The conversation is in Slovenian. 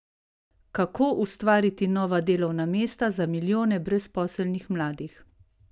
Kako ustvariti nova delovna mesta za milijone brezposelnih mladih?